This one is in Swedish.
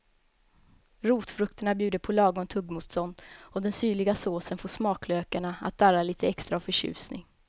Rotfrukterna bjuder på lagom tuggmotstånd och den syrliga såsen får smaklökarna att darra lite extra av förtjusning.